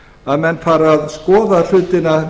að menn fari að skoða hlutina